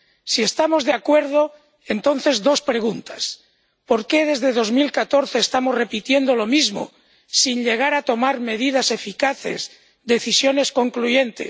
Si estamos de acuerdo, entonces dos preguntas ¿por qué desde 2014 estamos repitiendo lo mismo sin llegar a tomar medidas eficaces, decisiones concluyentes?